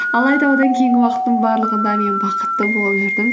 алайда одан кейінгі уақыттың барлығында мен бақытты болып жүрдім